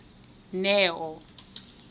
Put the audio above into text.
neo